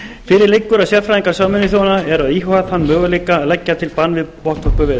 fyrir liggur að sérfræðingar sameinuðu þjóðanna eru að íhuga þann möguleika að leggja til bann við botnvörpuveiðum